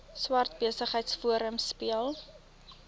swart besigheidsforum speel